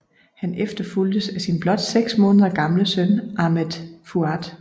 Han efterfulgtes af sin blot seks måneder gamle søn Ahmed Fuad